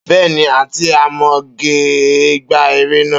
Beeni, Aunty Amoge gba ère naa.